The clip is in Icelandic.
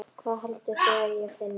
Hvað haldið þið ég finni?